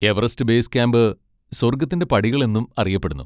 Everest base camp സ്വർഗ്ഗത്തിന്റെ പടികൾ എന്നും അറിയപ്പെടുന്നു.